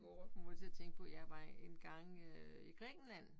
Kommer til at tænke på jeg var engang øh i Grækenland